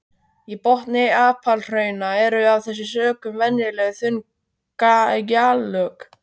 Í botni apalhrauna eru af þessum sökum venjulega þunn gjalllög.